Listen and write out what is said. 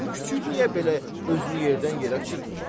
Hələ bu kiçik niyə belə özünü yerdən yerə çırpır?